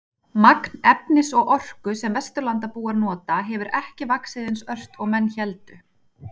Magn efnis og orku sem Vesturlandabúar nota hefur ekki vaxið eins ört og menn héldu.